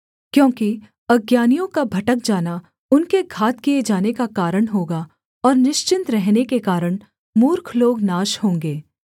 क्योंकि अज्ञानियों का भटक जाना उनके घात किए जाने का कारण होगा और निश्चिन्त रहने के कारण मूर्ख लोग नाश होंगे